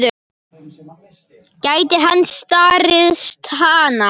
Gæti hann staðist hana?